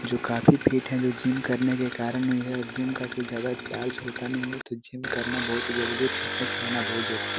जो काफी फिट है जो जिम करने के कारन हुए है और जिम का कोई ज्यादा चार्ज नहीं होता है तो जिम करना बहुत ही जरुरी है फिटनेस रहना बहुत जरुरी--